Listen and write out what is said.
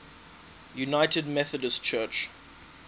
united methodist church